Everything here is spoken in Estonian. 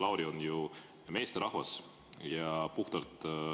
Lauri on ju meesterahvas.